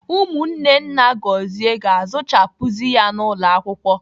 Ụmụnne nna Gọzie ga-azụchapuzi ya n'ụlọ akwụkwọ.